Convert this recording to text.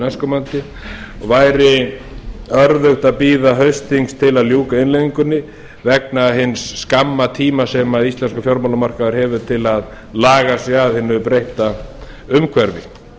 næstkomandi og væri örðugt að bíða haustþings til að ljúka innleiðingunni vegna hins skamma tíma sem íslenskur fjármálamarkaður hefur til að laga sig að hinu breytta umhverfi